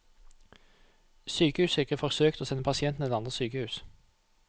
Sykehuset har ikke forsøkt å sende pasientene til andre sykehus.